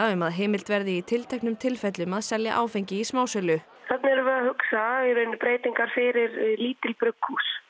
um að heimilt verði í tilteknum tilfellum að selja áfengi í smásölu þarna erum við að hugsa um breytingar fyrir lítil brugghús